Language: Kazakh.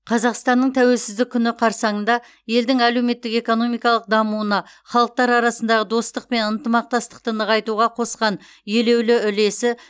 қазақстанның тәуелсіздік күні қарсаңында елдің әлеуметтік экономикалық дамуына халықтар арасындағы достық пен ынтымақтастықты нығайтуға қосқан елеулі үлесі